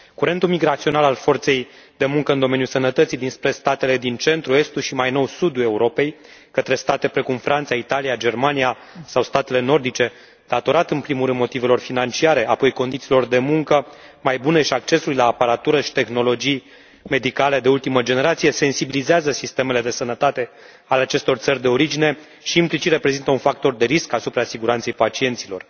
Curentul migrațional al forței de muncă în domeniu sănătății dinspre statele din centrul, estul și, mai nou, sudul Europei, către state precum Franța, Italia, Germania sau statele nordice datorat, în primul rând, motivelor financiare, apoi condițiilor de muncă mai bune și accesului la aparatură și tehnologii medicale de ultimă generație, sensibilizează sistemele de sănătate ale acestor țări de origine și, implicit, reprezintă un factor de risc asupra siguranței pacienților.